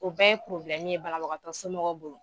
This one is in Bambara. O bɛɛ ye ye banabagatɔ somɔgɔw bolo.